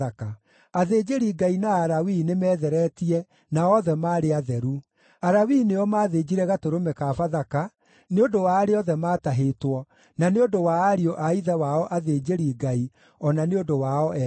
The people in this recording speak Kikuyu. Athĩnjĩri-Ngai na Alawii nĩmetheretie na othe maarĩ atheru. Alawii nĩo maathĩnjire gatũrũme ka Bathaka, nĩ ũndũ wa arĩa othe maatahĩtwo, na nĩ ũndũ wa ariũ a ithe wao athĩnjĩri-Ngai, o na nĩ ũndũ wao ene.